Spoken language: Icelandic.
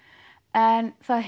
en það